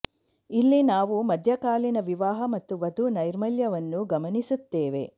ಇಲ್ಲಿ ನಾವು ಮಧ್ಯಕಾಲೀನ ವಿವಾಹ ಮತ್ತು ವಧು ನೈರ್ಮಲ್ಯವನ್ನು ಗಮನಿಸುತ್ತೇವೆ